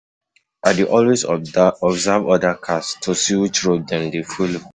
I dey always observe other cars to see which road dem dey folo.